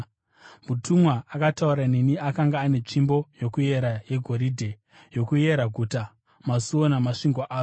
Mutumwa akataura neni akanga ane tsvimbo yokuera yegoridhe, yokuyera guta, masuo namasvingo aro.